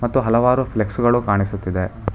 ಮತ್ತು ಹಲವಾರು ಫ್ಲೆಕ್ಸ್ ಗಳು ಕಾಣಿಸುತ್ತಿದೆ.